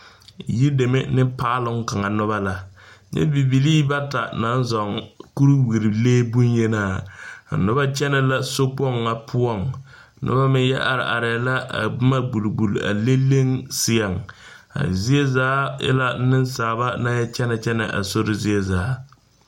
Yideme ne paaloŋ kaŋa noba la, nyɛ bibilii bata naŋ zoŋ kuriwirile bonyenaa,a noba kyɛne la sokpoŋ ŋa poɔŋ, noba meŋ yɔ are areɛ la a boma gbol gbol a leŋ seɛŋ, a zie zaa e la nensaalba naŋ yɔ kyɛne kyɛne a sori zie zaa.